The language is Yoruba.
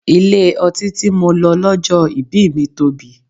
Ilé ọtí tí mo lọ lọ́jọ́ ìbí mi tóbi.